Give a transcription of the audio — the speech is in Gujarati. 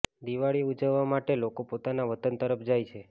દિવાળી ઉજવવા માટે લોકો પોતાના વતન તરફ જાય છે